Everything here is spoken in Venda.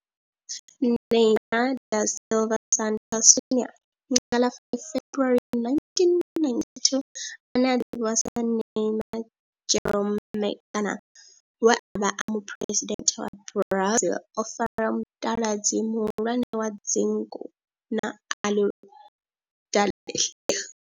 Neymar da Silva Santos Junior, nga ḽa 5 February 1992, ane a ḓivhiwa sa Ne'ymar' Jeromme kana we a vha e muphuresidennde wa Brazil o fara mutaladzi muhulwane wa dzingu na Aludalelia.